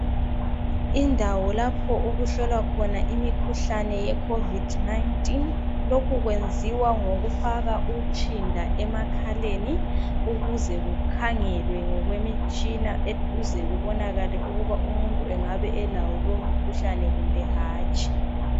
Indawo lapho okuhlolwa khona imkhuhlane ye COVID-19. Lokhu kwenziwa ngokufaka utshinda emakhaleni ukuze kukhangelwe ngokwemitshina ukuze kubonakale ukuba umuntu engabe elawo lowu mkhuhlane kumbe hatshi.